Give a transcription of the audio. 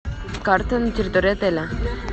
карты на территории отеля